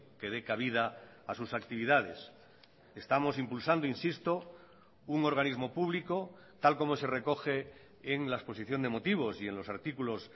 que dé cabida a sus actividades estamos impulsando insisto un organismo público tal como se recoge en la exposición de motivos y en los artículos